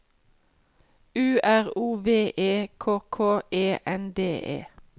U R O V E K K E N D E